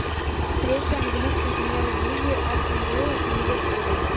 встреча английской премьер лиги астон виллы и ливерпуля